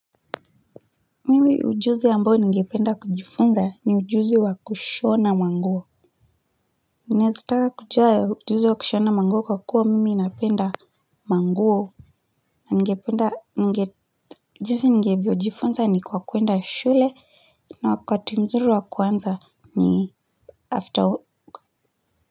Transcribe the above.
Mimi ujuzi ambayo ningependa kujifunza ni ujuzi wa kushona manguo ninaweza taka kujua ya ujuzi wa kushona manguo kwa kuwa mimi napenda manguo na ningependa jinsi ningevyojifunza ni kwa kwenda shule na wakati mzuri wa kuanza ni after.